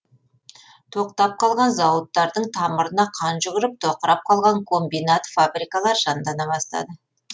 тоқтап қалған зауыттардың тамырына қан жүгіріп тоқырап қалған комбинат фабрикалар жандана бастады